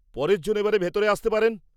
পরের জন এবারে ভিতরে আসতে পারেন!